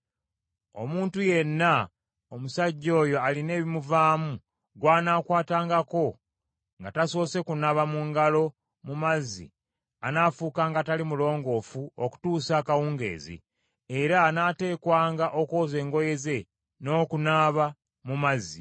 Omuntu yenna, omusajja oyo alina ebimuvaamu gw’anaakwatangako nga tasoose kunaaba mu ngalo mu mazzi anaafuukanga atali mulongoofu okutuusa akawungeezi, era anaateekwanga okwoza engoye ze n’okunaaba mu mazzi.